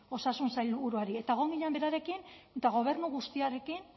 osasun sailburuari eta egon ginen berarekin eta gobernu guztiarekin